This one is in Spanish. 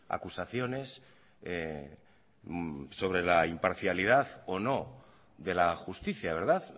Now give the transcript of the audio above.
acusaciones sobre la imparcialidad o no de la justicia verdad